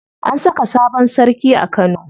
An saka sabon sarki a Kano.